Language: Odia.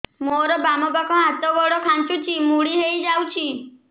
ମୋର ବାମ ପାଖ ହାତ ଗୋଡ ଖାଁଚୁଛି ମୁଡି ହେଇ ଯାଉଛି